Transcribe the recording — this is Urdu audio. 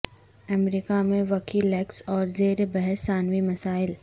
امریکہ میں وکی لیکس اور زیر بحث ثانوی مسائل